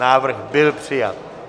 Návrh byl přijat.